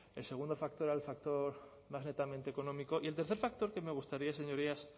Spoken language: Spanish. el segundo factor era el factor más netamente económico y el tercer factor que me gustaría señorías